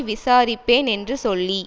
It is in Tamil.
விசாரிப்பேன் என்று சொல்லி